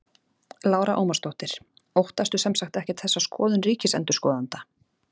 Lára Ómarsdóttir: Óttastu sem sagt ekkert þessa skoðun ríkisendurskoðanda?